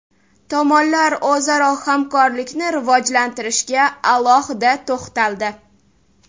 Tomonlar o‘zaro hamkorlikni rivojlantirishga alohida to‘xtaldi.